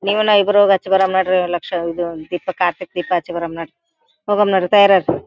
ನಿವೂನಾವ ಇಬ್ರು ಹಚ್ಚ್ ಬರೋಣ ನಡ್ರಿ ಲಕ್ಷ ದಿಪ ಕಾರ್ತಿಕ್ ದೀಪ ಹಚ್ಚಿ ಬರೋಣ ನಡ್ರಿ ಹೋಗಮ್ಮ ತಯಾರಾಗ್ --